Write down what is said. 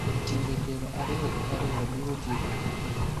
Timbe piero ariyo gi ariyo biro tieko kinde --